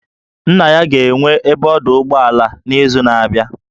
Nna ya ga-enwe ebe ọdụ ụgbọala n'izu na-abịa